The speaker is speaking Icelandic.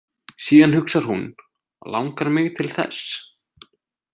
Síðan hugsar hún: Langar mig til þess?